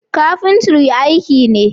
Kafintri aiki ne.